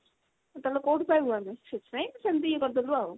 ତାହେଲେ କଉଠୁ ପାଇବୁ ଆମେ ସେଥିପାଇଁ ସେମିତି ଇଏ କରିଦେଲୂ ଆମେ ଆଉ।